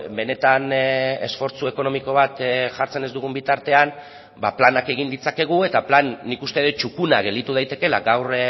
benetan esfortzu ekonomiko bat jartzen ez dugun bitartean planak egin ditzakegu eta plan nik uste dut txukuna gelditu daitekeela gaur